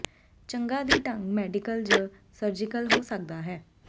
ਚੰਗਾ ਦੀ ਢੰਗ ਮੈਡੀਕਲ ਜ ਸਰਜੀਕਲ ਹੋ ਸਕਦਾ ਹੈ